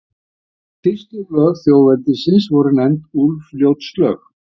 Þessi fyrstu lög þjóðveldisins voru nefnd Úlfljótslög.